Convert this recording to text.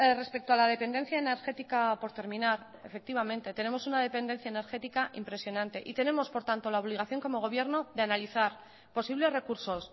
respecto a la dependencia energética por terminar efectivamente tenemos una dependencia energética impresionante y tenemos por tanto la obligación como gobierno de analizar posibles recursos